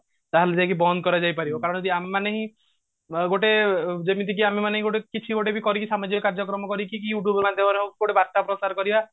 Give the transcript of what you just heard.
ତାହେଲେ ଯାଇ ବନ୍ଦ କରାଯାଇ ପାରିବ କାରଣ ହଉଛି ଆମେ ମାନେ ହିଁ ଗୋଟେ ଯେମିତିକି ଆମେ ମାନେ ଗୋଟେ କିଛି ଗୋଟେ ବି କରିକି ସାମାଜିକ କାର୍ଯ୍ୟ କ୍ରମ କରିକି କି you tube ମାଧ୍ୟମରେ ହଉ ଗୋଟେ ବାର୍ତା ପ୍ରସାର କରିବା